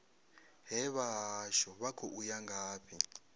hee vhahashu vha khou ya ngafhi